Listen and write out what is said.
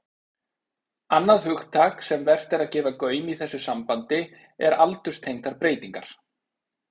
Annað hugtak sem vert er að gefa gaum í þessu sambandi er aldurstengdar breytingar.